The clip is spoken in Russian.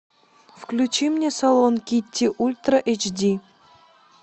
включи мне салон китти ультра эйч ди